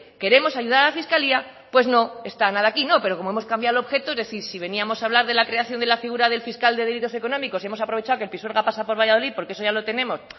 queremos ayudar a la fiscalía pues no está nada aquí pero como hemos cambiado el objeto es decir si veníamos a hablar de la creación de la figura del fiscal de delitos económicos y hemos aprovechado que el pisuerga pasa por valladolid porque eso ya lo tenemos